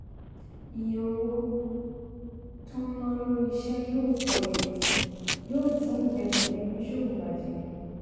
iye owó tó ń ná lórí iṣẹ́ yóò pọ̀ èrè yóò dín ìgbẹ́kẹ̀lé oníṣòwò bà jẹ́.